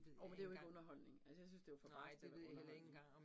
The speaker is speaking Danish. Jo, men det jo ikke underholdning. Altså jeg synes, det var for barskt til at være underholdning